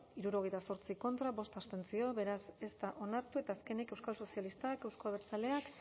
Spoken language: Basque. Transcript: hirurogeita zortzi contra bost abstentzio beraz ez da onartu eta azkenik euskal sozialistak euzko abertzaleak